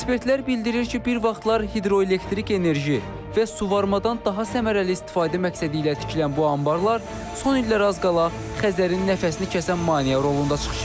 Ekspertlər bildirir ki, bir vaxtlar hidroelektrik enerji və suvarımadan daha səmərəli istifadə məqsədi ilə tikilən bu anbarlar son illər az qala Xəzərin nəfəsini kəsən maneə rolunda çıxış edir.